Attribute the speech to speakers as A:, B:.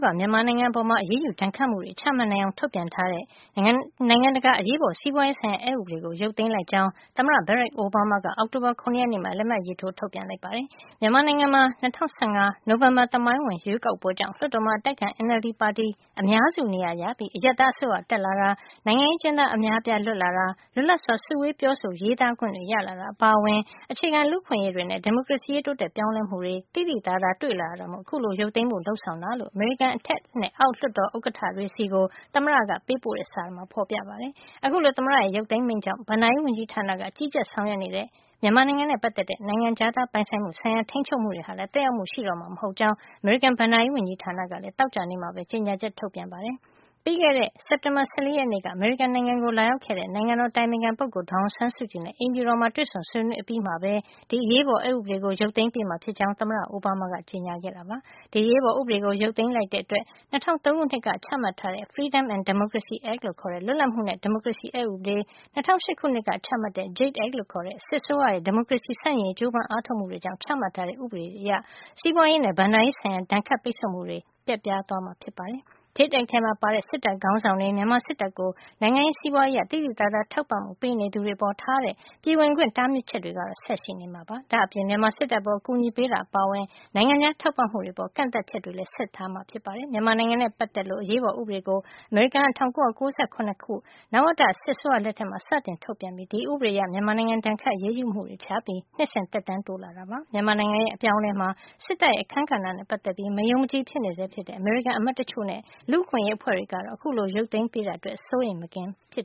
A: က မြန်မာနိုင်ငံအပေါ် အရေးယူဒဏ်ခတ်မှုတွေ ချမှတ်နိုင်အောင် ထုတ်ပြန်ထားတဲ့ နိုင်ငံတကာ အရေးပေါ် စီးပွားရေးဆိုင်ရာ အက်ဥပဒေကို ရုပ်သိမ်းလိုက်ကြောင်း သမ္မတ Barack Obama က အောက်တိုဘာ ၇ ရက်နေ့မှာ လက်မှတ်ရေးထိုး ထုတ်ပြန်လိုက်ပါတယ်။ မြန်မာနိုင်ငံမှာ ၂၀၁၅ ခုနှစ် နိုဝင်ဘာသမိုင်းဝင် ရွေးကောက်ပွဲကြောင့် လွှတ်တော်မှာ အတိုက်အခံ NLD ပါတီ အများစုနေရာရပြီး အရပ်သား အစိုးရတက် လာတာ၊ နိုင်ငံရေး အကျဉ်းသား အများအပြားလွတ်လာတာ၊ လွတ်လပ်စွာ စုဝေးပြောဆို ရေးသားခွင့်တွေ ရလာတာ အပါအဝင် အခြေခံလူ့အခွင့်အရေးတွေနဲ့ ဒီမိုကရေစီရေး တိုးတက်ပြောင်းလဲမှုတွေ သိသိသာသာ တွေ့လာရတဲ့အတွက် အခုလိုရုပ်သိမ်းဖို့ လုပ်ဆောင်တာဖြစ်ကြောင်း အမေရိကန် အထက်နဲ့ အောက် လွှတ်တော် ဥက္ကဋ္ဌတွေဆီကို သမ္မတက ပေးပို့တဲ့စာထဲမှာ ဖေါ်ပြထားပါတယ်။ အခုလို သမ္မတရဲ့ ရုပ်သိမ်း မိန့်ကြောင့် ဘဏ္ဍာရေးဝန်ကြီးဌာနက ကြီးကြပ်ဆောင်ရွက်နေတဲ့ မြန်မာနိုင်ငံနဲ့ ပါတ်သက်တဲ့ နိုင်ငံခြားသား ပိုင်ဆိုင်မှုဆိုင်ရာ ထိန်းချုပ်မှု တွေဟာလည်း သက်ရောက်မှု ရှိတော့မှာ မဟုတ်ကြောင်း အမေရိကန် ဘဏ္ဍာရေး ဝန်ကြီးဌာန ကလည်း သောကြာနေ့မှာပဲ ကြေညာချက် ထုတ်ပြန်ခဲ့ပါတယ်။ ပြီးခဲ့တဲ့ စက်တင်ဘာလ ၁၄ ရက်နေ့က အမေရိကန်ပြည်ထောင်စုကို လာရောက်ခဲ့တဲ့ နိုင်ငံတော်အတိုင်ပင်ခံပုဂ္ဂိုလ် ဒေါ်အောင်ဆန်းစုကြည်နဲ့အိမ်ဖြူတော်မှာ တွေ့ဆုံဆွေးနွေး အပြီးမှာပဲ ဒီအရေးပေါ် အက်ဥပဒေကို ရုတ်သိမ်းပေး မှာ ဖြစ်ကြောင်း သမ္မတအိုဘားမားက ကြေညာခဲ့တာ ဖြစ်ပါတယ်။ ဒီအရေးပေါ်ဥပဒေကို ရုတ်သိမ်းလိုက်ခြင်းအားဖြင့် ၂၀၀၃ ခုနှစ်က ချမှတ်ခဲ့တဲ့ Freedom and Democracy Act လို့ခေါ်တဲ့ လွတ်လပ်မှုနဲ့ ဒီမိုကရေစီအက်ဥပဒေ၊ ၂၀၀၈ ခုနှစ်က ချမှတ်ခဲ့တဲ့ JADE Act လို့ခေါ်တဲ့ စစ်အစိုးရရဲ့ ဒီမိုကရေစီ ဆန့်ကျင်ရေး ကြိုးပမ်း အားထုတ်မှု တွေကြောင့် ချမှတ်ထားတဲ့ အက်ဥပဒေတွေအရ စီးပွားရေးနဲ့ ဘဏ္ဍာရေးဆိုင်ရာ ဒဏ်ခတ်ပိတ်ဆို့မှုတွေ ပျက်ပြားသွားမှာဖြစ်ပါတယ်။ JADE Act ထဲမှာပါဝင်တဲ့ စစ်တပ်ခေါင်းဆောင်တွေ၊ မြန်မာစစ်တပ်ကို နိုင်ငံရေး၊ စီးပွားရေးအရ သိသိသာသာ ထောက်ပံ့မှုပေးနေသူတွေ အပေါ် ထားရှိတဲ့ ပြည်ဝင်ခွင့် တားမြစ်ချက်တွေကတော့ ဆက်ပြီးရှိနေဦးမှာဖြစ်ပါတယ်။ ဒါ့အပြင် မြန်မာစစ်တပ်အပေါ် အကူအညီပေးတာ အပါအဝင် နိုင်ငံခြားထောက်ပံ့ မှုတွေ အပေါ် ကန့်သတ်ချက်တွေကလည်း ဆက်ပြီး ရှိဦးမှာဖြစ်ပါတယ်။ မြန်မာနိုင်ငံနဲ့ ပါတ်သက်လို့ အရေးပေါ် ဥပဒေကို အမေရိကန်က ၁၉၉၇ ခုနှစ်တုန်းက နဝတ စစ်အစိုးရလက်ထက်မှာ စတင်ထုတ်ပြန်ပြီး ဒီဥပဒေအရ မြန်မာနိုင်ငံ ဒဏ်ခတ်အရေးယူမှုတွေ ချမှတ်ပြီး နှစ်စဉ် သက်တမ်းတိုးလာခဲ့တာဖြစ်ပါတယ်။ မြန်မာနိုင်ငံရဲ့ အပြောင်းအလဲမှာ စစ်တပ်ရဲ့ အခန်းကဏ္ဍနဲ့ ပါတ်သက်ပြီး မယုံမကြည်ဖြစ်နေဆဲ ဖြစ်တဲ့ အမေရိကန်အမတ်တချို့နဲ့ လူ့အခွင့်ရေး အဖွဲ့တွေကတော့ အခုလို ရုပ်သိမ်းပေးတာအတွက် စိုးရိမ်မကင်းဖြစ်